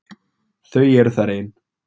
Þau eru þar ein.